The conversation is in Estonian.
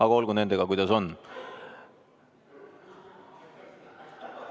Aga olgu sellega, kuidas on.